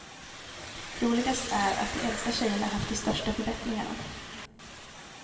Roligast är att de äldsta tjejerna haft de största förbättringarna.